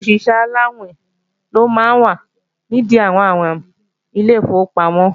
Òṣìṣẹ́ aláàwìn ló máa ń wà nìdí àwọn àwìn ilé ìfowópamọ́